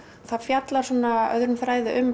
það fjallar svona öðrum þræði um